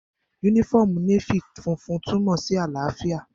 Yúnífọ́ọ̀mù Nééfì funfun túnmọ̀ sí àlàáfíà